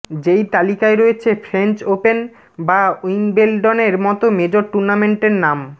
যেই তালিকায় রয়েছে ফ্রেঞ্চ ওপেন বা উইম্বেলডনের মত মেজর টুর্নামেন্টের নাম